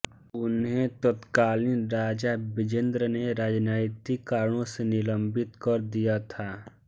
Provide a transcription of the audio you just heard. उन्हें तत्कालीन राजा बिजेन्द्र ने राजनैतिक कारणों से निलम्बित कर दिया था